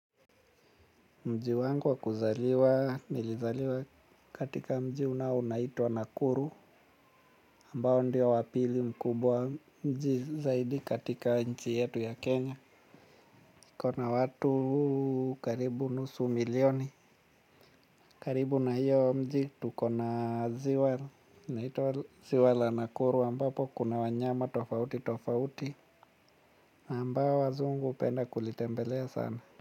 Mji wangu wakuzaliwa nilizaliwa katika mji unao unaitwa nakuru ambao ndio wapili mkubwa mji zaidi katika nchi yetu ya Kenya ukona watu karibu nusu milioni. Karibu na hiyo mji tukona ziwa inaitwa ziwa la nakuru ambapo kuna wanyama tofauti tofauti ambao wazungu hupenda kulitembelea sana.